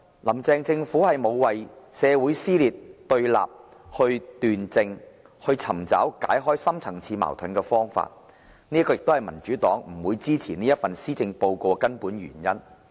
"林鄭"政府沒有為社會撕裂和對立斷症，尋找解決深層次矛盾的方法，這是民主黨不會支持這份施政報告的根本原因。